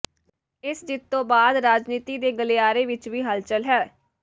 ਇਸ ਜਿੱਤ ਤੋਂ ਬਾਅਦ ਰਾਜਨੀਤੀ ਦੇ ਗਲਿਆਰੇ ਵਿੱਚ ਵੀ ਹਲਚੱਲ ਹੈ